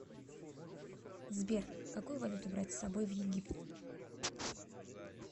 сбер какую валюту брать с собой в египет